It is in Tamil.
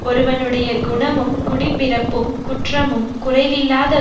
ஒருவனுடைய குணமும் குடிப்பிறப்பும் குற்றமும் குறைவில்லாத